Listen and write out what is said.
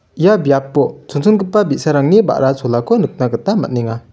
ia biapo chonchongipa bisarangni ba·ra cholako nikna gita man·enga.